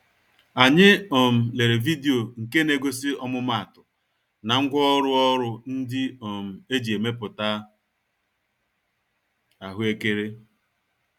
Anyị um lere video nke negosi ọmụma-atụ, na ngwá ọrụ ọrụ ndị um eji emepụta ahụekere.